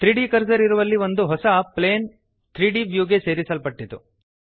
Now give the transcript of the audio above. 3ದ್ ಕರ್ಸರ್ ಇರುವಲ್ಲಿ ಒಂದು ಹೊಸ ಪ್ಲೇನ್ 3ದ್ ವ್ಯೂಗೆ ಸೇರಿಸಲ್ಪಟ್ಟಿತು